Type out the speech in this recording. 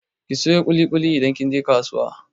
Ki sayo ƙuli-ƙuli idan kin je kasuwa!